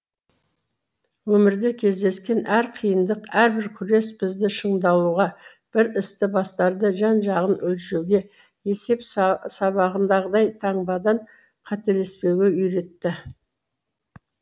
өмірде кездескен әр қиындық әрбір күрес бізді шыңдалуға бір істі бастарда жан жағын өлшеуге есеп сабағындағыдай таңбадан қателеспеуге үйретті